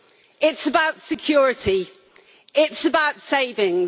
It is about security. It is about savings.